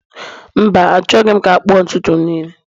mba, Achọghị m ka akpụ ntutu m niile